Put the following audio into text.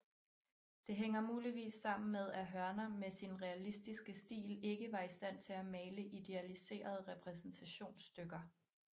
Det hænger muligvis sammen med at Hörner med sin realistiske stil ikke var i stand til at male idealiserede repræsentationsstykker